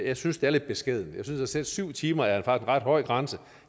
jeg synes det er lidt beskedent jeg synes at syv timer er en ret høj grænse